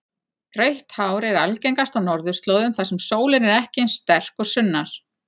Rautt hár er algengast á norðurslóðum þar sem sólin er ekki eins sterk og sunnar.